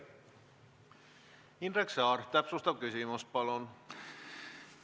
Indrek Saar, täpsustav küsimus, palun!